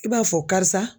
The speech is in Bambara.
I b'a fɔ karisa